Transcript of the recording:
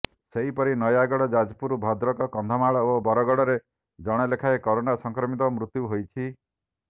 ସେହିପରି ନୟାଗଡ଼ ଯାଜପୁର ଭଦ୍ରକ କନ୍ଧମାଳ ଓ ବରଗଡ଼ରେ ଜଣେ ଲେଖାଏଁ କୋରୋନା ସଂକ୍ରମିତଙ୍କ ମୃତ୍ୟୁ ହୋଇଛି